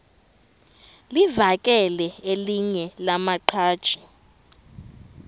livakele elinye lamaqhaji